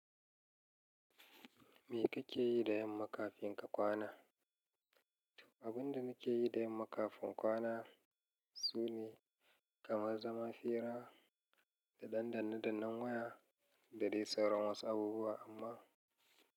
Me kake yi da yamma kafin ka kwana? Abin da muke yi da yamma kafin kwana, sune, kamar zama fira, da ɗan danne dannen waya, da dai sauran wasu abubuwa, amma.